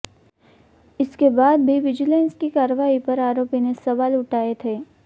इसके बाद भी विजिलेंस की कार्रवाई पर आरोपी ने सवाल उठाए थे